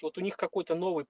вот у них какой-то